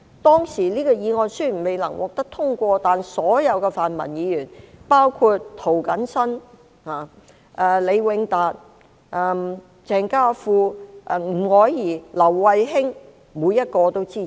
"當時這項議案雖然未能獲得通過，但所有泛民議員，包括涂謹申議員、李永達議員、鄭家富議員、吳靄儀議員、劉慧卿議員，每一位都支持。